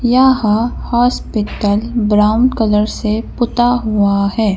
यहां hospital brown colour से पुता हुआ है।